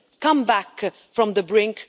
Come back from the brink.